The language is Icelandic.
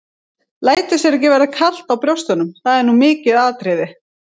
Lætur sér ekki verða kalt á brjóstunum, það er nú mikið atriði.